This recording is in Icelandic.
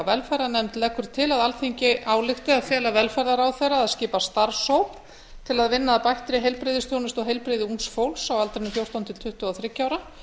velferðarnefnd leggur til alþingi álykti að fela velferðarráðherra að skipa starfshóp til að vinna að bættri heilbrigðisþjónustu og heilbrigði ungs fólks á aldrinum fjórtán til tuttugu og þriggja ára